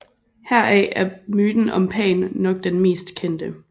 Heraf er myten om Pan nok den mest kendte